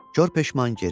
Qırx peşman geri qayıtdı.